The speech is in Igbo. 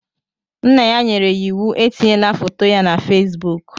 Nna ya nyere ya iwu etinyela foto ya na Facebook.